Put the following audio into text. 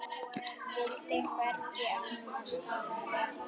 Vildi hvergi annars staðar vera.